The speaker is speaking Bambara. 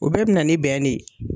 O bɛɛ bi na ni bɛn de ye.